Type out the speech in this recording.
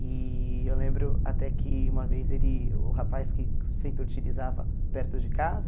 E eu lembro até que uma vez ele o rapaz que sempre utilizava perto de casa,